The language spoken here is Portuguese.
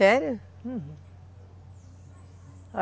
Sério? Uhum.